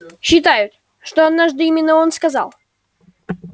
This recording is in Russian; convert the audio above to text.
считают что однажды именно он сказал